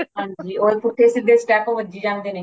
ਹਾਂਜੀ ਹੋਰ ਪੁੱਠੇ ਸਿੱਧੇ step ਵਜੀ ਜਾਂਦੇ ਨੇ